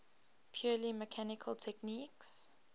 purely mechanical techniques